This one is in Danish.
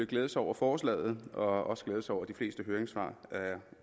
glæde sig over forslaget og også glæde sig over de fleste høringssvar er